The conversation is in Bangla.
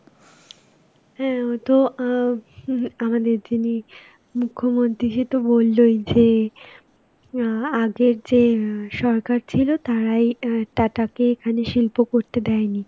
হ্যাঁ আমি তো অ্যাঁ আমাদের যিনি মুখ্যমন্ত্রী সে তো বললই যে অ্যাঁ আগের যে সরকার ছিল তারাই এ TATA কে এখানে শিল্প করতে দেয়নি,